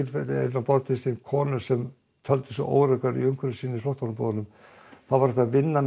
á borð til sín konur sem töldu sig óöruggar í umhverfi sínu í flóttamannabúðunum þá var hægt að vinna með